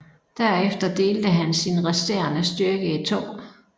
Derefter delte han sin resterende styrke i to